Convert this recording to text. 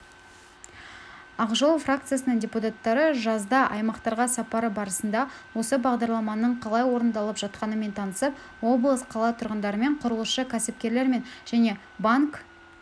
ақ жол фракциясының депутаттары жазда аймақтарға сапары барысында осы бағдарламаның қалай орындалып жатқанымен танысып облыс қала тұрғындарымен құрылысшы кәсіпкерлермен және банк